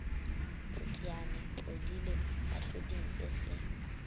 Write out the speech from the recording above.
phutiane podile mohloding se se